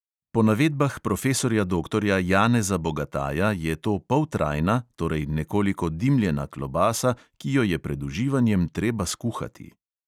Po navedbah profesorja doktorja janeza bogataja je to poltrajna, torej nekoliko dimljena klobasa, ki jo je pred uživanjem treba skuhati.